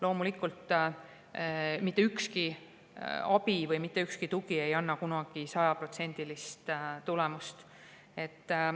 Loomulikult ei anna mitte mingi abi või tugi kunagi sajaprotsendilist tulemust.